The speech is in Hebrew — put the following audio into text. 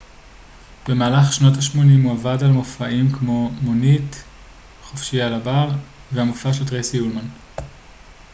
במהלך שנות השמונים הוא עבד על מופעים כמו מונית חופשי על הבר והמופע של טרייסי אולמן